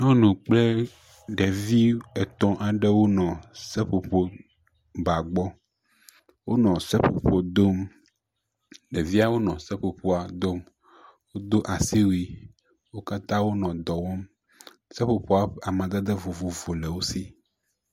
Nyɔnu kple ɖevi etɔ̃ aɖewo nɔ seƒoƒo dom, ɖeviawo nɔ seƒoƒoa dom do asiwui, wo katã wonɔ dɔwɔm, seƒoƒoa, amadede vovovowo nɔ esi